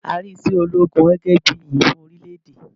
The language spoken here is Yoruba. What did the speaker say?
A rí iṣẹ́ ológun gẹ́gẹ́ bíi orísun iyì fún orílẹ̀ èdè.